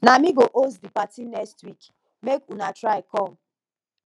na me go host di party next week make una try come